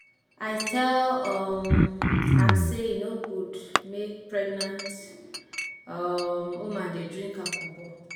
I tell um am sey e no good make pregnant um woman dey drink alcohol.